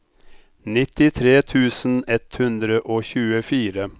nittitre tusen ett hundre og tjuefire